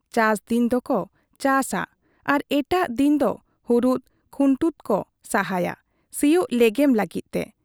ᱪᱟᱥ ᱫᱤᱱ ᱫᱚᱠᱚ ᱪᱟᱥᱟ ᱟᱨ ᱮᱴᱟᱜ ᱫᱤᱱ ᱫᱚ ᱦᱩᱨᱩᱫ ᱠᱷᱩᱱᱴᱩᱫ ᱠᱚ ᱥᱟᱦᱟᱭᱟ ᱥᱤᱭᱚᱜ ᱞᱮᱜᱮᱢ ᱞᱟᱹᱜᱤᱫ ᱛᱮ ᱾